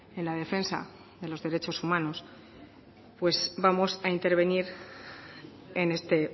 en la defensa de los derechos humanos pues vamos a intervenir en este